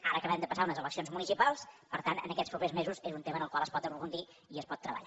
ara acabem de passar unes elec cions municipals per tant en aquests propers mesos és un tema en el qual es pot aprofundir i es pot treballar